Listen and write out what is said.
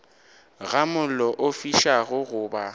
ga mollo o fišago goba